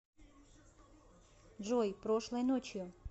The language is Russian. джой прошлой ночью